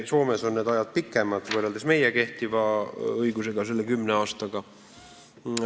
Soomes on need tähtajad pikemad kui meie kehtivas õiguses ette nähtud kümme aastat.